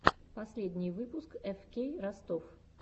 последний выпуск эфкей ростов